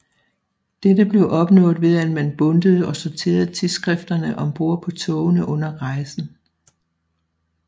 Dette blev opnået ved at man bundtede og sorterede tidsskrifterne om bord på togene under rejsen